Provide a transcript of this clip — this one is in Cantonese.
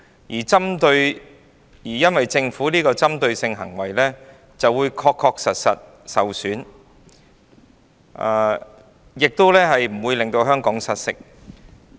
它認為政府的針對性行為不會對言論自由構成確實損害，亦不會使香港失色。